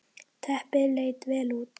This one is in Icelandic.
Teppið leit vel út.